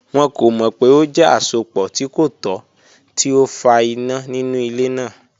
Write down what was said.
Wọn ko mọ pe o jẹ asopọ ti ko tọ ti o fa ina ninu ile naa.